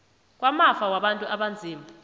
kwamafa wabantu abanzima